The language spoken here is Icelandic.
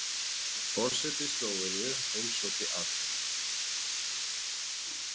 Forseti Slóveníu heimsótti Alþingi